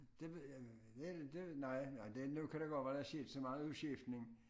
Det ved jeg det det nej nej det nu kan det godt være der er sket så meget udskiftning